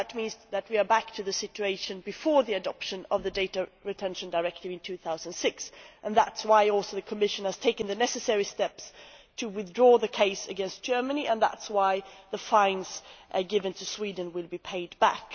That means that we are back to the situation before the adoption of the Data Retention Directive in 2006 and that is also why the Commission has taken the necessary steps to withdraw the case against Germany and that is why the fines given to Sweden will be paid back.